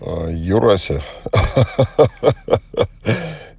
юрасев